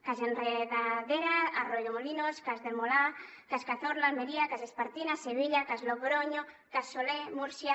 cas enredadera arroyomolinos cas el molar cas cazorla almeria cas espartinas sevilla cas logronyo cas soler múrcia